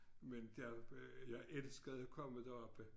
Men øh jeg elskede at komme deroppe